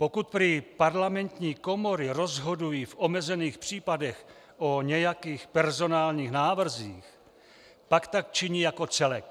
Pokud prý parlamentní komory rozhodují v omezených případech o nějakých personálních návrzích, pak tak činí jako celek.